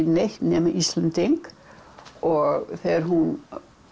neitt nema Íslendingur og þegar hún